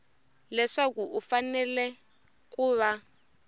leswaku u fanele ku va